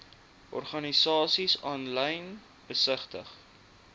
organisasies aanlyn besigtig